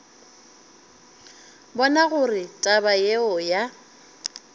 bona gore taba yeo ya